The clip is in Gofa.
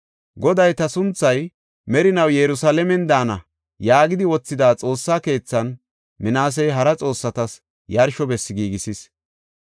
Goday, “Ta sunthay merinaw Yerusalaamen daana” yaagidi wothida Xoossa keethan Minaasey hara xoossatas yarsho bessi giigisis.